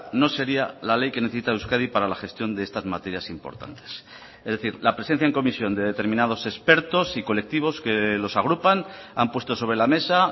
no sería la ley que necesita euskadi para la gestión de estas materias importantes es decir la presencia en comisión de determinados expertos y colectivos que los agrupan han puesto sobre la mesa